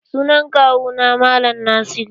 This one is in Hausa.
Sunan Kawu na mallam Nasiru.